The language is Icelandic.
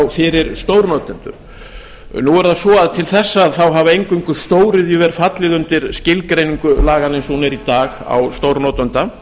fyrir stórnotendur nú er það svo að til þessa hafa eingöngu stóriðjuver fallið undir skilgreiningu laganna eins og hún er í dag á stórnotanda